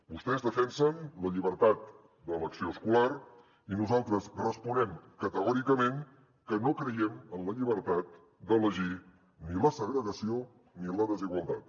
vostès defensen la llibertat d’elecció escolar i nosaltres responem categòricament que no creiem en la llibertat d’elegir ni la segregació ni la desigualtat